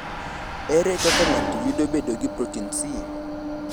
Ere kaka ng’ato yudo bedo gi protin C?